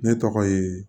Ne tɔgɔ ye